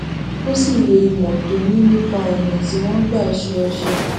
ó sì lo ìmò tó ní nípa ònà tí wón ń gbà ṣe ọṣẹ